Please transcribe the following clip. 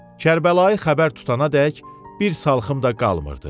Kərbəlayı xəbər tutanadək bir salxım da qalmırdı.